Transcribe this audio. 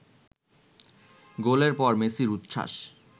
গোলের পর মেসির উচ্ছ্বাস